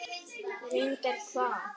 Reyndar hvað?